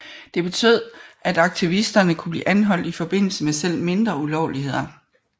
Det betød at aktivisterne kunne blive anholdt i forbindelse med selv mindre ulovligheder